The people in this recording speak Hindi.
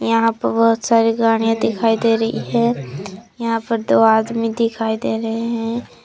यहां पर बहुत सारे गाड़ियां दिखाई दे रही है यहां पर दो आदमी दिखाई दे रहे हैं।